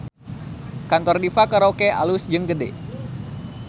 Kantor Diva Karaoke alus jeung gede